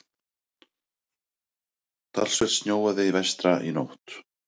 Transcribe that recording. Talsvert snjóaði vestra í nótt.